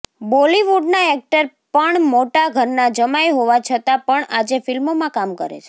બોલીવુડના એક્ટર પણ મોટા ઘરના જમાઈ હોવા છતાં પણ આજે ફિલ્મોમાં કામ કરે છે